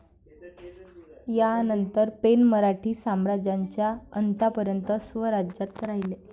यानंतर, पेण मराठी साम्राज्याच्या अंतापर्यंत स्वराज्यात राहिले.